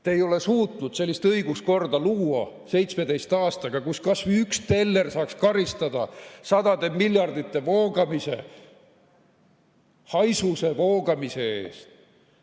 Te ei ole suutnud 17 aastaga luua sellist õiguskorda, kus kas või üks teller saaks karistada sadade miljardite voogamise, haisuse voogamise eest.